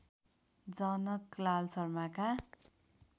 Janaklal शर्माका